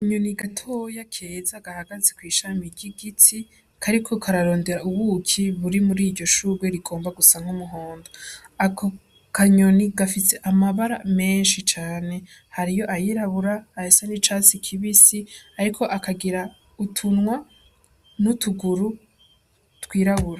Inyoni gatoya keza gahagaze kw'ishami ry'igitsi kariko kararondera ubuki buri muri iryo shurwe rigomba gusank'umuhonda ako kanyoni gafitse amabara menshi cane hariyo ayirabura ayesa n'i casi kibisi, ariko akagira utunwa n'utuguruwe.